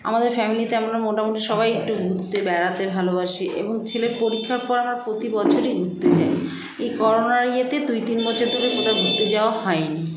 আমাদের family - তে মোটামুটি আমরা সবাই একটু ঘুরতে বেড়াতে ভালোবাসি এবং ছেলের পরিক্ষার পর আমরা প্রতি বছরই ঘুরতে যাই এই corona র ইয়েতে দুই তিন বছর ধরে কোথাও ঘুরতে যাওয়া হয়নি